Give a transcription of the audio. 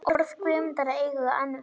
Orð Guðmundar eiga enn við.